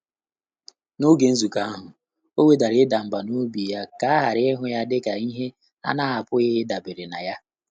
N’ógè nzùkọ́ áhụ́, ọ́ wèdàrà ị́dà mbà n’óbí yá kà á ghàrà ị́hụ́ yá dị́kà ìhè á nà-ápụ́ghị́ ị́dàbèré nà yá.